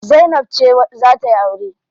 Zainab ce za tayi aure.